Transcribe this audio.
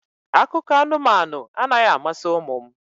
Akụkọ anụmanụ anaghị amasị ụmụ m